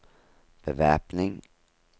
bevæpning